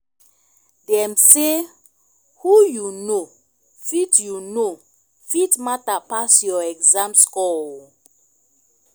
dem say "who you know fit you know fit matter pass your exam score o"